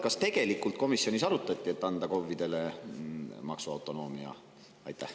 Kas tegelikult komisjonis arutati KOV‑idele maksuautonoomia andmist?